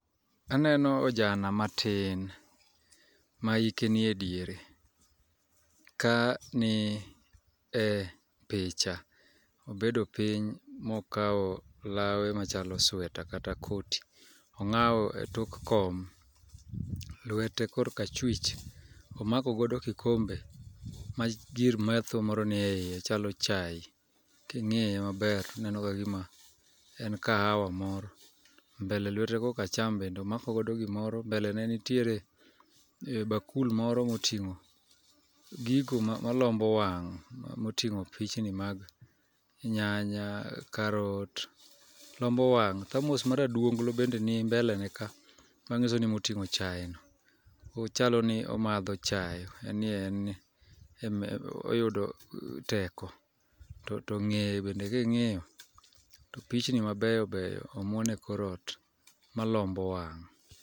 Aneno ojana matin ma hike niye diere, ka ni e picha, obedo piny mokawo lawe machalo sweta kata koti onga'we e tok kom, lwete kor ka chwich omako godo kikombe magir metho moro nie hiye machalo chaye kingi'ye maber to aneno ka gima en kahawa moro, mbele lwete ma kor ka cham bende omakogodo gimoro, mbele ne nitiere bakul moro ma otingo' gigo malombo wang' motingo' pichni mag nyanya, karot, lombo wang' thamos mara dunglo bende nimbeleneka manyiso ni emotingo' chayeno machalo ni omatho chaye oyudo teko to ngeye bend kingi'yo pichni mabeyo beyo bende omuon e kor ot malombo wang'.